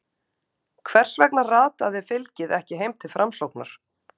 Hvers vegna rataði fylgið ekki heim til Framsóknar?